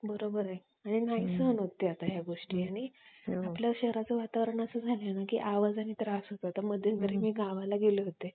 आह तिला हम्म त्यांचे म्हणजे चार वर्ष त्यामध्ये relation असत relation मध्ये असल्यामुळे ती नंतर college ला पण जात नाही पण तो तिचं खुप प्रेम करत असतो